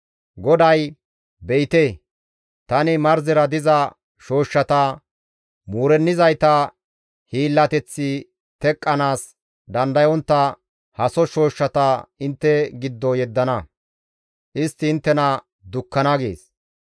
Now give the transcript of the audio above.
GODAY, «Be7ite, tani marzera diza shooshshata, muurennizayta hiillateththi teqqanaas dandayontta haso shooshshata intte giddo yeddana; istti inttena dukkana» gees.